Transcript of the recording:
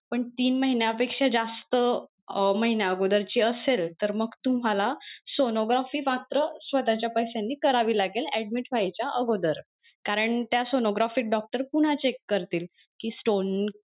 पण तीन महिन्या पेक्षा जास्त अं महिना अगोदर ची असेल तर मग तुम्हाला sonography मात्र स्वतःच्या पैशांनी करावी लागेल admit होयच्या अगोदर कारण त्या sonography doctor पुन्हा check करतील कि stone